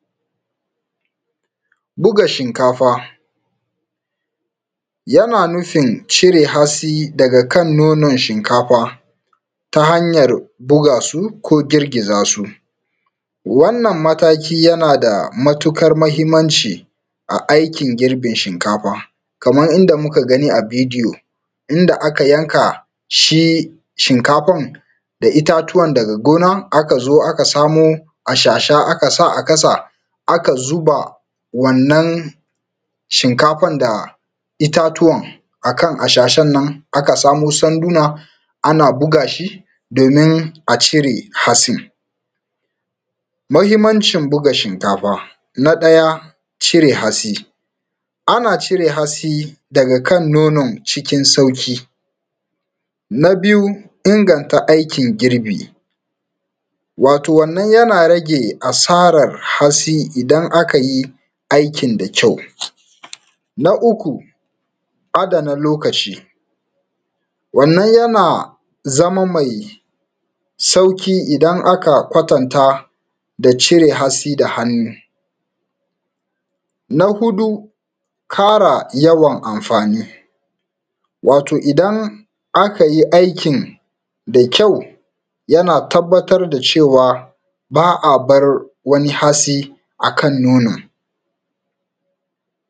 Buga shinkafa, yana nufin cire hatsi daga kan nonon shinkafa, ta hanyar bugasu ko girgiza su. Wannan mataki yana da matuƙar mahimmanci a aikin girbin shinkaf, kaman inda muka gani a bidiyo inda aka yanka shi, shi shinkafan da itatuwan daga gona aka zo aka samo ashasha aka sa a ƙasa aka zuba wannan shinkafan da itatuwan akan ashashan nan, aka samo sanduna ana buga shi domin a cire hatsin. Mahimmancin buga shinkafa Na ɗaya, cire hatsi, ana cire hatsi daga kan nonon cikin sauƙi. Na biyu, inganta aikin girbi, wato wannan yana rage hasaran hatsi idan aka yi aikin da kyau. Na uku, adana lokaci, wannan yana zama mai sauƙi idan akwa kwatanta da cire hatsi da hannu. Na huɗu, ƙara yawan amfani, wato idan akayi aikin da kyau yana tabbatar da cewa ba a bar wani hatsi akan nonon.s